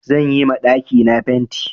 Zan yi ma ɗakina fenti.